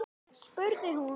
spurði hún